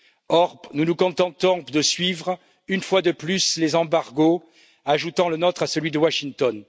Or, nous nous contentons de suivre, une fois de plus, les embargos, ajoutant le nôtre à celui de Washington.